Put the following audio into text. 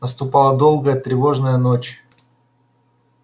наступала долгая тревожная ночь